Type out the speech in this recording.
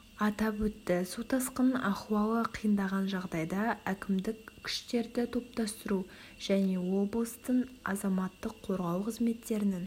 атап өтті су тасқынының ахуалы қиындаған жағдайда әкімдік күштерді топтастыру және облыстың азаматтық қорғау қызметтерінің